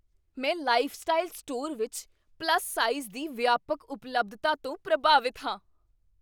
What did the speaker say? ਮੈਂ lifestyle store ਵਿੱਚ plus size ਦੀ ਵਿਆਪਕ ਉਪਲੱਬਧਤਾ ਤੋਂ ਪ੍ਰਭਾਵਿਤ ਹਾਂ।